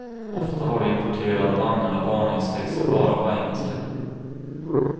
Ofta har de importerade vagnarna varningstexter bara på engelska.